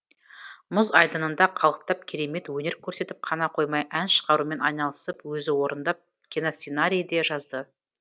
мұз айдынында қалықтап керемет өнер көрсетіп қана қоймай ән шығарумен айналысып өзі орындап киносценарий де жазды